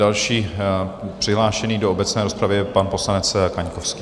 Další přihlášený do obecné rozpravy je pan poslanec Kaňkovský.